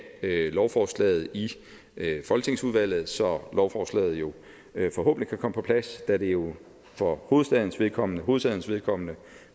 lovforslaget i folketingsudvalget så lovforslaget jo forhåbentlig kan komme på plads da det jo for hovedsagens vedkommende hovedsagens vedkommende